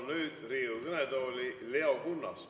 Ma palun Riigikogu kõnetooli Leo Kunnase.